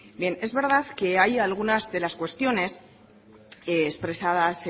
es verdad que hay algunas de las cuestiones expresadas